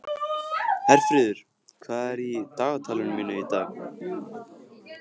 Herfríður, hvað er í dagatalinu mínu í dag?